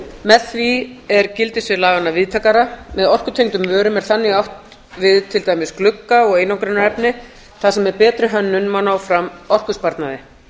með því er gildissvið laganna víðtækara með orkutengdum vörum er þannig átt við til dæmis glugga og einangrunarefni þar sem með betri hönnun má ná fram orkusparnaði